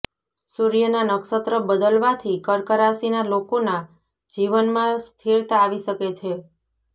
સૂર્યના નક્ષત્ર બદલવાથી કર્ક રાશિના લોકોના જીવનમાં સ્થિરતા આવી શકે છે